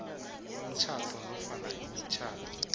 umtjhado nofana imitjhado